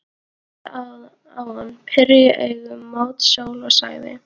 Hún horfði á hann, pírði augun mót sól og sagði